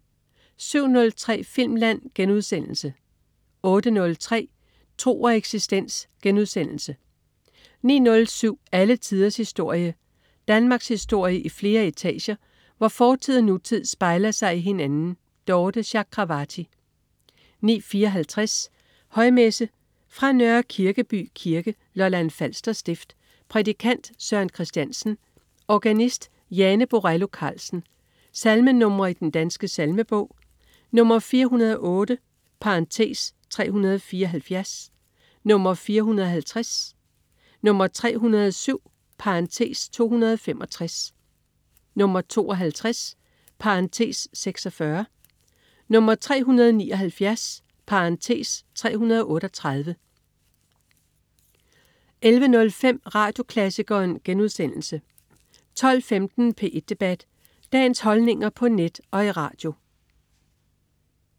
07.03 Filmland* 08.03 Tro og eksistens* 09.07 Alle tiders historie. Danmarkshistorie i flere etager, hvor fortid og nutid spejler sig i hinanden. Dorthe Chakravarty 09.54 Højmesse. Fra Nørre Kirkeby Kirke, Lolland Falster stift. Prædikant: Søren Kristiansen. Organist: Jane Borello Carlsen. Salmenr. i Den Danske Salmebog: 408 (374), 450, 307 (265), 52 (46), 379 (338) 11.05 Radioklassikeren* 12.15 P1 Debat. Dagens holdninger på net og i radio